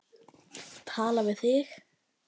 Tala við þig?